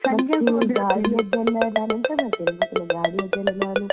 ಗಾಡಿಯದ್ದಲ್ಲ ಎಂತ ಮಾಡ್ತೇನೆ ಗೊತ್ತುಂಟಾ ಗಾಡಿಯದ್ದು ಎಲ್ಲ ನಾನು.